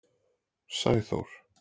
Sæþór